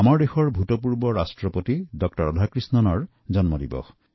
আমাৰ দেশৰ প্ৰাক্তন ৰাষ্ট্ৰপতি ড০ সৰ্বপল্লী ৰাধাকৃষ্ণণৰ জন্মদিন